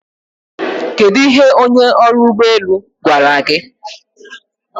Kedu ihe onye ọrụ ụgbọ elu gwara gị?